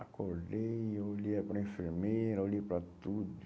Acordei, olhei é para a enfermeira, olhei para tudo.